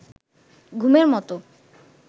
ঘুমের মতো